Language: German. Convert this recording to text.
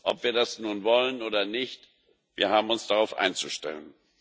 Ob wir das nun wollen oder nicht, wir haben uns darauf einzustellen.